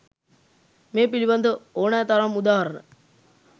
මේ පිළිබඳ ඕනෑ තරම් උදාහරණ